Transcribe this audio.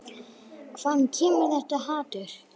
Hvaðan kemur þetta hatur?